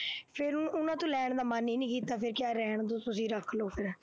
ਫੇਰ ਉਹ ਉਹਨਾ ਤੋਂ ਲੈਣ ਦਾ ਮਨ ਹੀ ਨਹੀਂ ਕੀਤਾ, ਫੇਰ ਕਿਹਾ ਰਹਿਣ ਦਿਉ, ਤੁਸੀਂ ਰੱਖ ਲਉ ਫੇਰ,